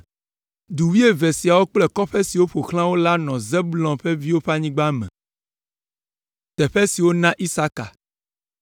Du wuieve siawo kple kɔƒe siwo ƒo xlã wo la nɔ Zebulon ƒe viwo ƒe anyigba me.